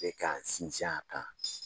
A bɛ k'an sinsin a kan